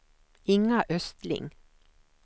Inga Östling